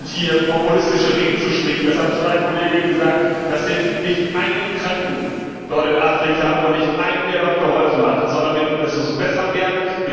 Hier populistische Reden zu schwingen das hat uns schon ein Kollege gesagt das hilft nicht einem Kranken dort in Afrika und nicht einem, der dort geholfen hat, sondern es muss besser werden.